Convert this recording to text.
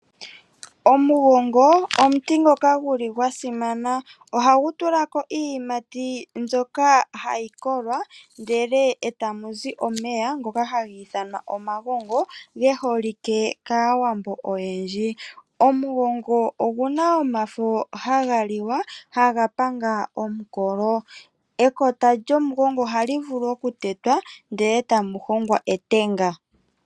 Omugongo omuti ngoka gu li gwa simana. Ohagu tula ko iiyimati mbyoka hayi kolwa, eta mu zi omeya ngoka haga ithanwa omagongo, ge holike kaawambo oyendji. Omugongo ogu na omafo haga liwa, haga panga omukolo. Ekota lyomugongo oha li vulu oku tetwa ndele tamu hongwa etenga.